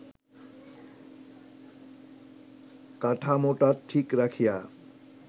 কাঠামোটা ঠিক রাখিয়া